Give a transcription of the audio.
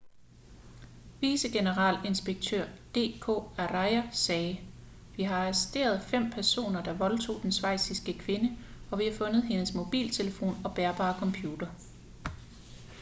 vicegeneralinspektør d k arya sagde vi har arresteret fem personer der voldtog den schweiziske kvinde og vi har fundet hendes mobiltelefon og bærbare computer